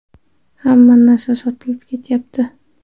Hamma narsa sotilib ketyapti.